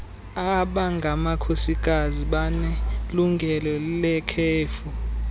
abangamakhosikazi banelungelo lekhefu